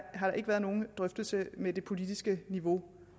ikke været nogen drøftelse med det politiske niveau